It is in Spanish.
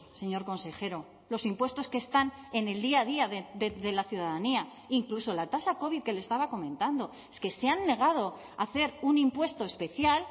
señor consejero los impuestos que están en el día a día de la ciudadanía incluso la tasa covid que le estaba comentando es que se han negado a hacer un impuesto especial